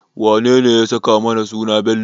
Wanene ya saka mana suna Bello?